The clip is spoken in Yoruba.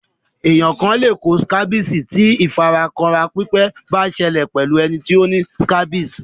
Ènìyàn le kó scabies ti ìfara kanra pípẹ́ ba sẹlẹ̀ pẹ́lu ẹni ti o ni scabies